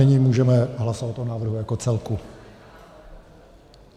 Nyní můžeme hlasovat o návrhu jako celku.